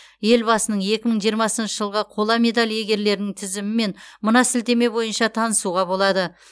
елбасының екі мың жиырмасыншы жылғы қола медаль иегерлерінің тізімімен мына сілтеме бойынша танысуға болады